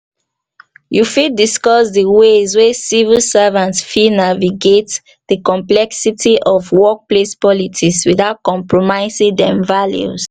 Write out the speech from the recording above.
you fit discuss di ways wey civil servants fit naviagate di complexities of workplace politics without compromising dem values?